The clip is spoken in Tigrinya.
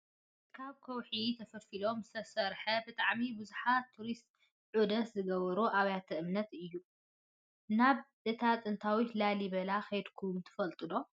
ካብ ከውሒ ተፈልፊሉ ዝተሰረሐ ብጣዕሚ ብዙሓት ቱሪስት ዕዶት ዝገብሩሉ ኣብያተ እምነት እዩ ።ናብ እታ ጥንታዊት ላሊበላ ከይድኩም ትፈልጡ ዶ ?